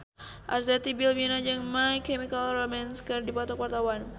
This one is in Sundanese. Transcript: Arzetti Bilbina jeung My Chemical Romance keur dipoto ku wartawan